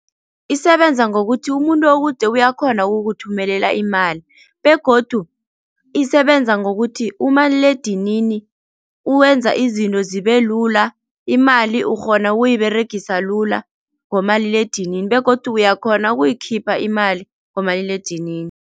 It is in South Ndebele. Isebenza ngokuthi umuntu okude uyakhona ukukuthumelela imali begodu isebenza ngokuthi umaliledinini uwenza izinto zibe lula, imali ukghona ukuyiberegisa lula ngomaliledinini begodu uyakhona ukuyikhipha imali ngomaliledinini.